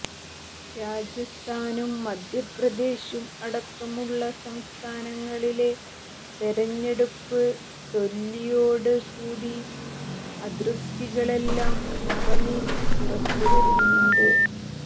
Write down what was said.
രാജസ്ഥാനും മധ്യപ്രദേശും അടക്കമുളള സംസ്ഥാനങ്ങളിലെ തെരഞ്ഞെടുപ്പ് തോല്വിയോട് കൂടി അതൃപ്തികളെല്ലാം മറനീക്കി പുറത്ത് വരുന്നുണ്ട്